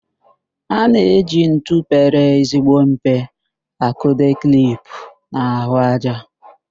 A na-eji ntu pere ezigbo mpe akụdo klip n'ahụájá.